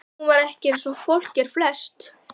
Hún var ekki eins og fólk er flest.